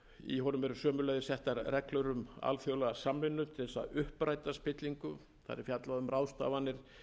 sömuleiðis settar reglur um alþjóðlega samvinnu til þess að uppræta spillingu þar er fjallað um ráðstafanir